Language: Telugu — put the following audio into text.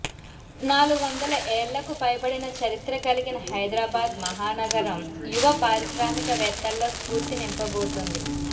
నాలుగొందల ఏళ్లకు పైబడిన చరిత్ర కలిగిన హైదరాబాద్ మహానగరం యువ పారిశ్రామికవేత్తల్లో స్ఫూర్తి నింపబోతోంది